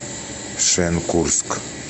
шенкурск